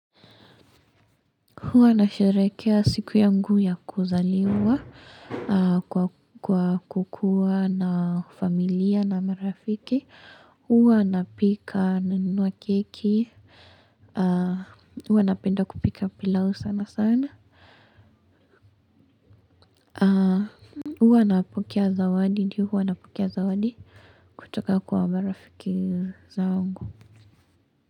Huwa nasherekea siku yangu ya kuzaliwa kwa kukuwa na familia na marafiki. Huwa na pika nanunua keki. Huwa napenda kupika pilau sana sana. Huwa napokea zawadi kutoka kwa marafiki zangu.